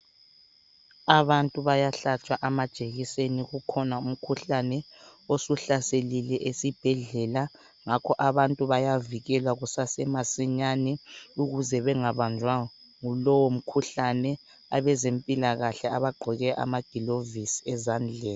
Abantu bayahlatshwa amajekiseni ukhona umkhuhlane osuhlaselile esibhedlela ngakho abantu bayavikelwa kusase masinyane ukuze bengabanjwa ngulowo mkhuhlane. Abezempilakahle abagqoke amagilovisi ezandleni.